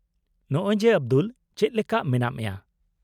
-ᱱᱚᱜ ᱚᱭ ᱡᱮ ᱟᱵᱫᱩᱞ, ᱪᱮᱫ ᱞᱮᱠᱟ ᱢᱮᱱᱟᱜ ᱢᱮᱭᱟ ?